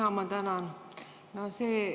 Jaa, ma tänan!